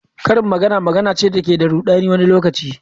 Karin magana magana ce da ke da rudani wani lokaci.